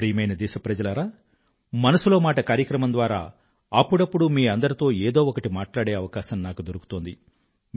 ప్రియమైన నా దేశ వాసులారా మనసులో మాట కార్యక్రమం ద్వారా అప్పుడప్పుడూ మీ అందరితో ఏదో ఒకటి మాట్లాడే అవకాశం నాకు దొరుకుతోంది